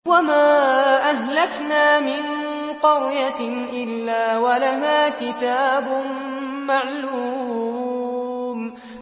وَمَا أَهْلَكْنَا مِن قَرْيَةٍ إِلَّا وَلَهَا كِتَابٌ مَّعْلُومٌ